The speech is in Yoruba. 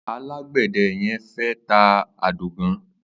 Àlágbẹ̀dẹ̀ yẹ̀n fẹ̀ tá àdógàn